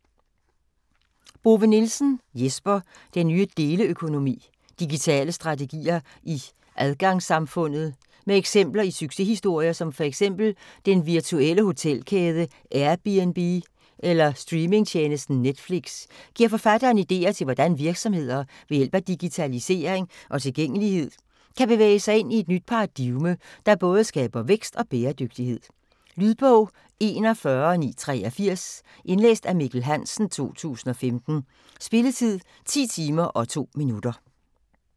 Bove-Nielsen, Jesper: Den nye deleøkonomi: digitale strategier i adgangssamfundet Med eksempler i succeshistorier som fx den virtuelle hotelkæde Airbnb eller streaming-tjenesten Netflix giver forfatteren ideer til hvordan virksomheder ved hjælp af digitalisering og tilgængelighed kan bevæge sig ind i et nyt paradigme , der både skaber vækst og bæredygtighed. Lydbog 41983 Indlæst af Mikkel Hansen, 2015. Spilletid: 10 timer, 2 minutter.